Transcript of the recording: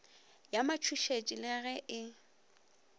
ya matšhošetši le ge e